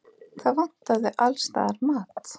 Það vantaði alls staðar mat.